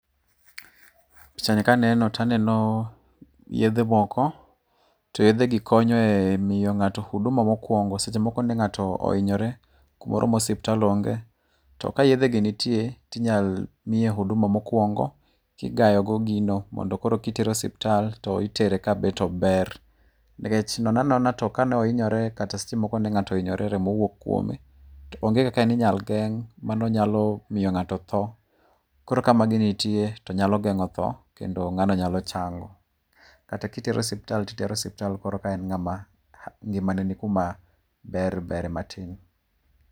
Pichani kane no to aneno yedhe moko, to yedhe gi konyo e miyo ng'ato huduma mokuongo. Seche moko ne ng'ato ohinyore kumoro ma osiptal onge, to ka yedhe gi nitie to inyal miye huduma mokuongo, kigayo go gino mondo koro kitere osiptal, to itere kabet ober nikech nono anona to kane ohinyore to seche moko remo owuok kuome, to onge kaka ne inyal geng' mano nyalo miyo ng'ato tho. Koro ka magi nitie, to nyalo geng'o tho , kendo ng'ano nyalo chango. Kata kitere osiptal to itere osiptal koro ka en ng'ama ngimane ni kuma ber berie matin.